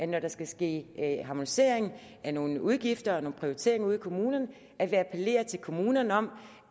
når der skal ske harmoniseringer af nogle udgifter og prioriteringer ude i kommunerne appellerer til kommunerne om